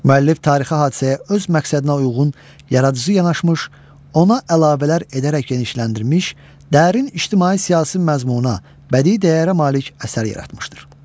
Müəllif tarixi hadisəyə öz məqsədinə uyğun yaradıcı yanaşmış, ona əlavələr edərək genişləndirilmiş, dərin ictimai-siyasi məzmunə, bədii dəyərə malik əsər yaratmışdır.